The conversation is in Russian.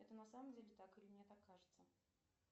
это на самом деле так или мне так кажется